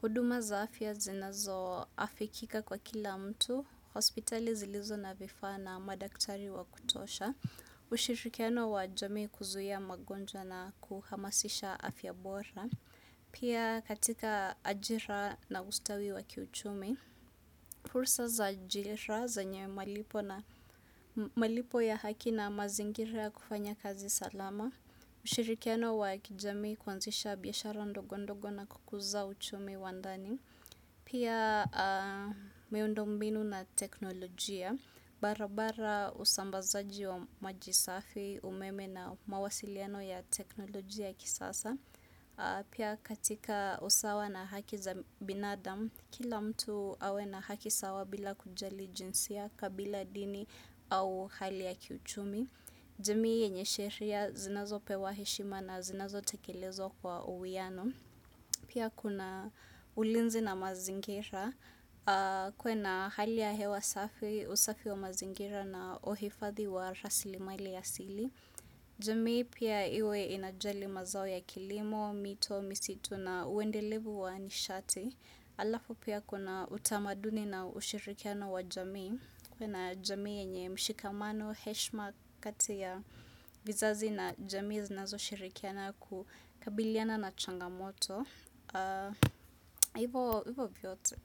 huduma za afya zinazo afikika kwa kila mtu, hospitali zilizo na vifavya na madaktari wa kutosha. Ushirikiano wa jamii kuzuia magonjwa na kuhamasisha afyabora Pia katika ajira na ustawi wakiuchumi fursa za ajira zenye malipo ya haki na mazingira kufanya kazi salama ushirikiano wa kijamii kwanzisha biyashara ndogondogo na kukuza uchumi wandani Pia meundombinu na teknolojia barabara usambazaji wa majisafi, umeme na mawasiliano ya teknolojia kisasa. Pia katika usawa na haki za binadamu, kila mtu awe na haki sawa bila kujali jinsia, kabila dini au hali ya kiuchumi. Jami yenye sheria zinazo pewa heshima na zinazo tekelezwa kwa uwiano. Pia kuna ulinzi na mazingira kuwe na hali ya hewa safi, usafi wa mazingira na uhifadhi wa rasili maili ya asili. Jamii pia iwe inajali mazao ya kilimo, mito, misitu na uendelevu wa nishati. Alafu pia kuna utamaduni na ushirikiano wa jamii. Kuwe na jami yenye mshikamano heshima kati ya vizazi na jamii zinazo shirikiana kukabiliana na changamoto hivo hivo vyote.